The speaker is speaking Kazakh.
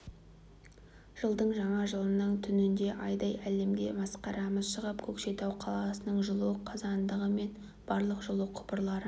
жылдың жаңа жылының түнінде айдай әлемге масқарамыз шығып көкшетау қаласының жылу қазандығы мен барлық жылу құбырлары